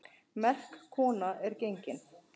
Merk kona er gengin.